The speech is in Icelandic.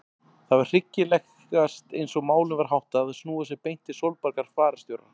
Það var hyggilegast eins og málum var háttað að snúa sér beint til Sólborgar fararstjóra.